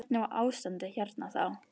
Hvernig var ástandið hérna þá.